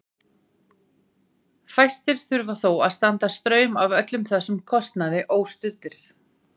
Fæstir þurfa þó að standa straum af öllum þessum kostnaði óstuddir.